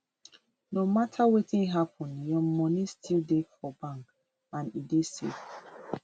no mata wetin happun your money still dey for bank and e dey safe